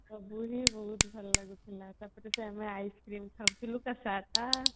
ବହୁତ ଭଲ ଲାଗୁଥିଲା ତାପରେ ଆମେ ice cream ଖାଉଥିଲୁ